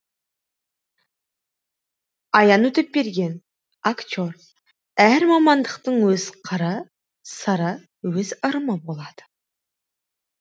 аян өтепберген актер әр мамандықтың өз қыры сыры өз ырымы болады